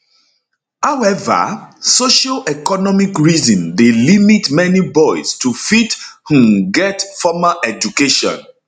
however socioeconomic reason dey limit many boys to fit um get formal education